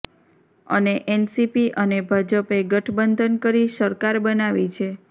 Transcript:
અને એનસીપી અને ભજપે ગઠબંધન કરી સરકાર બનાવી છે